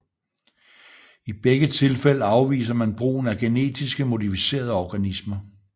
I begge tilfælde afviser man brugen af genetisk modificerede organismer